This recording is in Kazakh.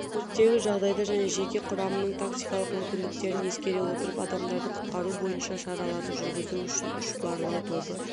өрттегі жағдайды және жеке құрамының тактикалық мүмкіндіктерін ескере отырып адамдарды құтқару бойынша шараларды жүргізу үшін үш барлау тобы